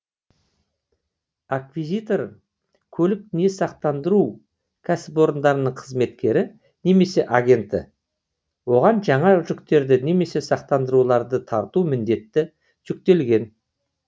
аквизитор көлік не сақтандыру кәсіпорындарының қызметкері немесе агенті оған жаңа жүктерді немесе сақтандыруларды тарту міндеті жүктелген